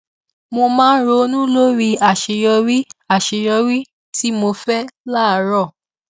mo máa ronú lórí aṣeyọrí aṣeyọrí tí mo fẹ láàárọ